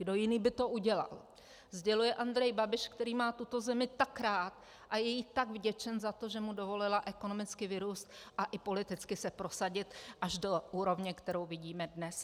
Kdo jiný by to udělal," sděluje Andrej Babiš, který má tuto zemi tak rád a je jí tak vděčen za to, že mu dovolila ekonomicky vyrůst a i politicky se prosadit až do úrovně, kterou vidíme dnes!